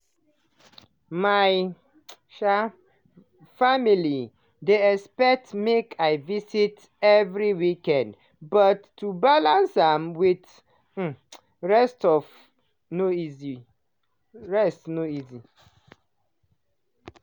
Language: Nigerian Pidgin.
my um family dey expect make i visit every weekend but to balance am with um rest no easy.